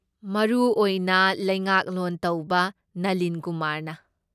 ꯃꯔꯨꯑꯣꯏꯅ ꯂꯩꯉꯥꯛꯂꯣꯟ ꯇꯧꯕ ꯅꯂꯤꯟ ꯀꯨꯃꯥꯔꯅ꯫